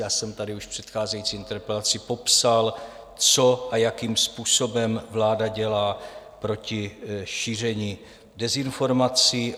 Já jsem tady už v předcházející interpelaci popsal, co a jakým způsobem vláda dělá proti šíření dezinformací.